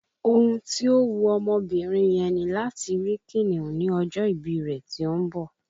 Ohun tí ó wu ọmọbìnrin yẹn ni láti rí kìnìún ní ọjọ́ ìbí rẹ tí ó ń bọ̀